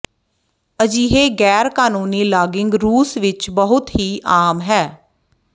ਅਜਿਹੇ ਗੈਰ ਕਾਨੂੰਨੀ ਲਾਗਿੰਗ ਰੂਸ ਵਿਚ ਬਹੁਤ ਹੀ ਆਮ ਹੈ